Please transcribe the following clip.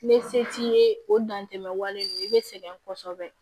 N bɛ se t'i ye o dan tɛ wale ninnu i bɛ sɛgɛn kosɛbɛ